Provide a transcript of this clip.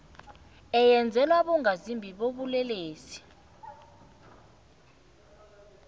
eyenzelwa abongazimbi bobulelesi